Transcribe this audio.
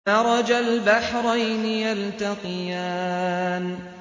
مَرَجَ الْبَحْرَيْنِ يَلْتَقِيَانِ